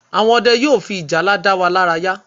Àwọn Ọdẹ yóò fi ìjálá da wa lára ya